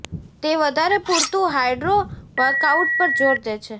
તે વધારે પુરતું હાઈડ્રો વર્કઆઉટ પર જોર દે છે